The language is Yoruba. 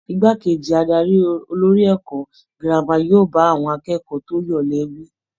Igbákejì adarí olórí ẹ̀kọ́ girama yóò bá àwọn akẹ́kọ̀ọ́ tí ó yọ̀lẹ wí.